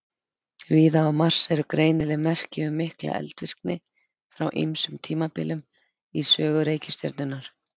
Víða á Mars eru greinileg merki um mikla eldvirkni frá ýmsum tímabilum í sögu reikistjörnunnar.